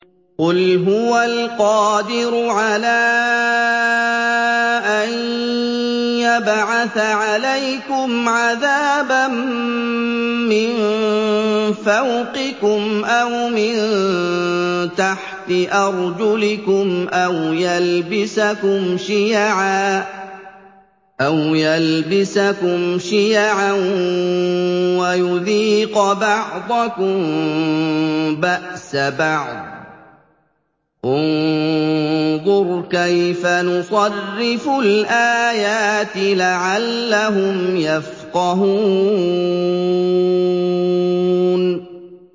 قُلْ هُوَ الْقَادِرُ عَلَىٰ أَن يَبْعَثَ عَلَيْكُمْ عَذَابًا مِّن فَوْقِكُمْ أَوْ مِن تَحْتِ أَرْجُلِكُمْ أَوْ يَلْبِسَكُمْ شِيَعًا وَيُذِيقَ بَعْضَكُم بَأْسَ بَعْضٍ ۗ انظُرْ كَيْفَ نُصَرِّفُ الْآيَاتِ لَعَلَّهُمْ يَفْقَهُونَ